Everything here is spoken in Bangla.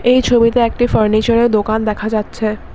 এই ছবিতে একটি ফার্নিচারের দোকান দেখা যাচ্ছে।